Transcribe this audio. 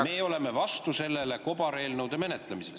Me oleme vastu kobareelnõude menetlemisele.